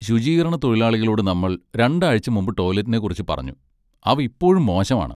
ശുചീകരണത്തൊഴിലാളികളോട് നമ്മൾ രണ്ടാഴ്ച മുമ്പ് ടോയ്ലറ്റിനെക്കുറിച്ച് പറഞ്ഞു, അവ ഇപ്പോഴും മോശമാണ്.